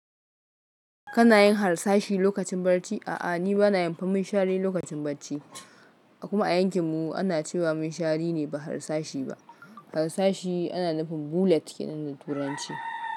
Kana yin harsashi lokacin barci? A'a, ni bana yin fi minshari lokacin bacci. Kuma a yankin mu ana cewa mun shari ne ba harsashi ba. Harsashi ana nufin bullet kenan da turanci.